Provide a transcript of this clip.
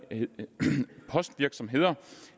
postvirksomheder